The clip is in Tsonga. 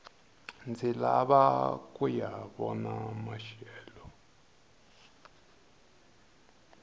ndzi lava kuya vona maxelo